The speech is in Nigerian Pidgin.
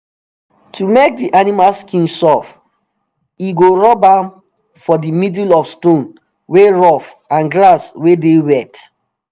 to make di animal skin soft e go rub am for di middle of stone wey rough and grass wey dey wet